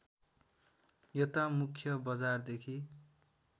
यता मुख्य बजारदेखि